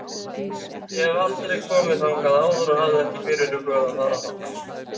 Ég hef aldrei komið þangað áður og hafði ekki fyrirhugað að fara þangað.